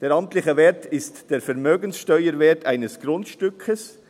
Der amtliche Wert ist der Vermögenssteuerwert eines Grundstücks.